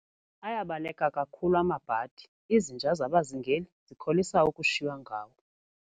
Ayabaleka kakhulu amabhadi, izinja zabazingeli zikholisa ukushiywa ngawo.